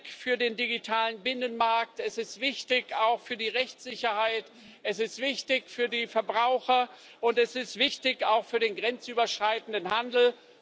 Es ist wichtig für den digitalen Binnenmarkt, es ist wichtig auch für die Rechtssicherheit, es ist wichtig für die Verbraucher und es ist wichtig auch für den grenzüberschreitenden Handel.